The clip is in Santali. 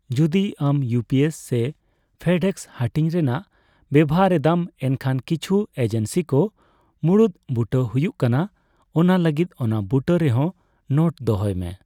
ᱡᱩᱫᱤ ᱟᱢ ᱤᱭᱩᱯᱤᱥ ᱥᱮ ᱝᱷᱮᱰᱮᱠᱥ ᱦᱟᱹᱴᱤᱧ ᱨᱮᱱᱟᱜ ᱵᱮᱵᱚᱦᱟᱨ ᱮᱫᱟᱢ ᱮᱱᱠᱷᱟᱱ ᱠᱤᱪᱷᱩ ᱮᱡᱮᱱᱥᱤ ᱠᱚ ᱢᱩᱬᱩᱛ ᱵᱩᱴᱟᱹ ᱦᱩᱭᱩᱜ ᱠᱟᱱᱟ, ᱚᱱᱟ ᱞᱟᱹᱜᱤᱫ ᱚᱱᱟ ᱵᱩᱴᱟᱹ ᱨᱮ ᱦᱚᱸ ᱱᱳᱴ ᱫᱚᱦᱚᱭ ᱢᱮ ᱾